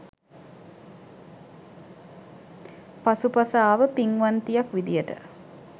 පසු පස ආව පින්වන්තියක් විදියට.